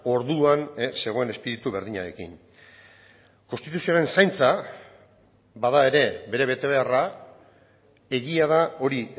orduan zegoen espiritu berdinarekin konstituzioaren zaintza bada ere bere betebeharra egia da hori